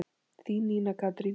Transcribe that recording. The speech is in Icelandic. Þín, Nína Katrín.